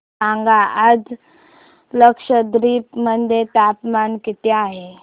सांगा आज लक्षद्वीप मध्ये तापमान किती आहे